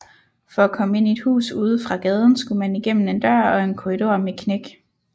For at komme ind i et hus ude fra gaden skulle man igennem en dør og en korridor med knæk